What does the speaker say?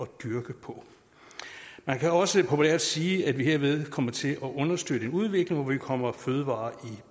dyrke på man kan også populært sige at vi herved kommer til at understøtte en udvikling hvor vi kommer fødevarer i